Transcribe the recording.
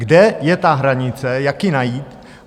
Kde je ta hranice, jak ji najít?